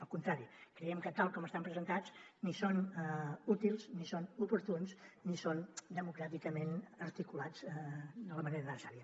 al contrari creiem que tal com estan presentats ni són útils ni són oportuns ni són democràticament articulats de la manera necessària